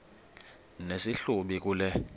nesi hlubi kule